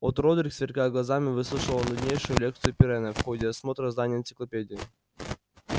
от родрик сверкая глазами выслушивал нуднейшую лекцию пиренна в ходе осмотра здания энциклопедии